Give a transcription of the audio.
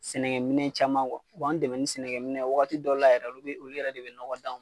Sɛnɛkɛminɛ caman u b'an dɛmɛ sɛnɛkɛminɛ waati dɔ la yɛrɛ olu yɛrɛ de bɛ nɔgɔ d'anw